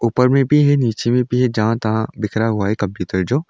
ऊपर में भी है नीचे में भी है जहां तहां बिखरा हुआ है कापी किताब जो।